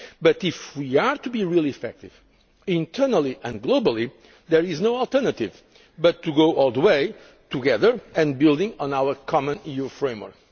But if we are to be really effective, internally and globally, there is no alternative but to go all the way, together, and build on our common EU